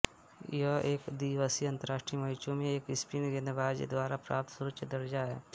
यह एक दिवसीय अंतरराष्ट्रीय मैचों में एक स्पिन गेंदबाज द्वारा प्राप्त सर्वोच्च दर्जा है